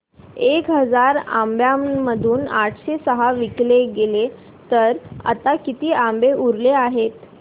एक हजार आंब्यांमधून आठशे सहा विकले गेले तर आता किती आंबे उरले आहेत